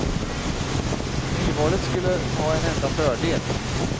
Nyvalet skulle ha en enda fördel.